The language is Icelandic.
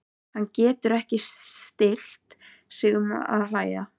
Hann gat ekki stillt sig um að hlæja.